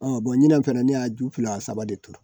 ɲinan fana ne y'a ju fila a saba de turu